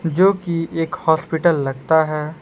जो कि एक हॉस्पिटल लगता है।